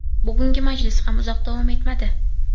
Bugungi majlis ham uzoq davom etmadi.